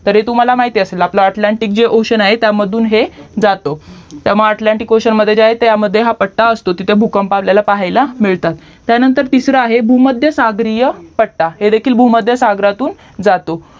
तरी तुम्हाला माहितीच आहे आपला जे अटलांटिक ocean आहे त्यामधून हे जातो त्यामुळे अटलांटिक ocean मध्ये जे आहे त्यामध्ये हा पट्टा असतो तर भूकंप आपल्याला पाहायला मिळतात त्यानंतर तिसरा आहे भूमध्य सागरीय पट्टा हे हे देखील भूमध्य सागरातून जातो